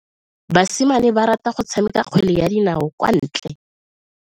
Basimane ba rata go tshameka kgwele ya dinao kwa ntle.